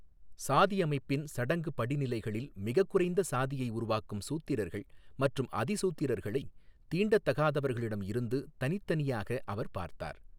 சாதி அமைப்பின் சடங்கு படிநிலைகளில் மிகக் குறைந்த சாதியை உருவாக்கும் சூத்திரர்கள் மற்றும் அதிசூத்திரர்களை தீண்டத்தகாதவர்களிடம் இருந்து தனித்தனியாக அவர் பார்த்தார்.